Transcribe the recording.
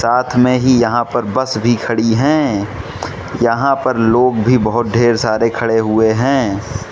साथ में ही यहां पर बस भी खड़ी हैं यहां पर लोग भी बहोत ढेर सारे खड़े हुए हैं।